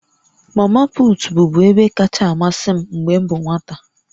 Mamaput bụbu ebe kacha amasị m mgbe m bụ nwata